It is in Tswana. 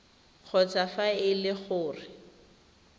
kgotsa fa e le gore